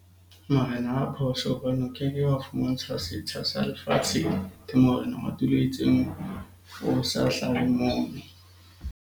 Marena a phoso hobane o keke wa fumantshwa setsha sa lefatsheng. Morena wa tulo e itseng o sa hlahe moo.